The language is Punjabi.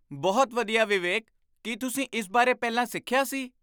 ਬਹੁਤ ਵਧੀਆ ਵਿਵੇਕ! ਕੀ ਤੁਸੀਂ ਇਸ ਬਾਰੇ ਪਹਿਲਾਂ ਸਿੱਖਿਆ ਸੀ?